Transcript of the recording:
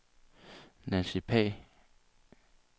Nancy Pagh